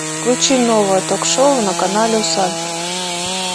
включи новое ток шоу на канале усадьба